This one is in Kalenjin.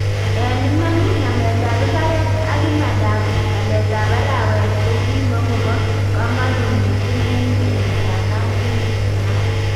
En iman, nameetan imbareet ak imandab baleetab araweet kokimakobo kamanuut missingen kenyiitab 1969